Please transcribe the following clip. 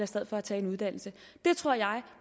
stedet for at tage en uddannelse det tror jeg